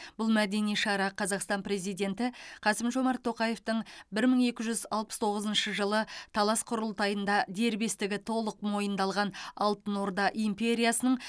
бұл мәдени шара қазақстан президенті қасым жомарт тоқаевтың бір мың екі жүз алпыс тоғызыншы жылы талас құрылтайында дербестігі толық мойындалған алтын орда империясының